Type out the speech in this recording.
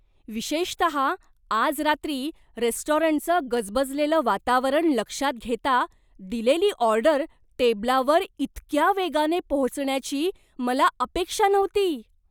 विशेषतः आज रात्री रेस्टॉरंटचं गजबजलेलं वातावरण लक्षात घेता, दिलेली ऑर्डर टेबलावर इतक्या वेगाने पोहोचण्याची मला अपेक्षा नव्हती.